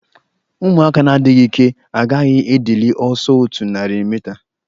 Ụmụaka na-adịghị ike agaghị edili ọsọ otu narị mita.